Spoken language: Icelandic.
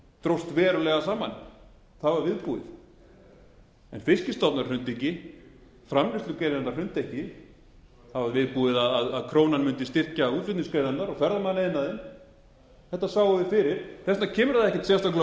dróst verulega saman það var viðbúið en fiskstofnar hrundu ekki framleiðslugreinarnar hrundu ekki það var viðbúið að krónan mundi styrkja útflutningsgreinarnar og ferðamannaiðnaðinn þetta sáum við fyrir þess vegna kemur það ekkert sérstaklega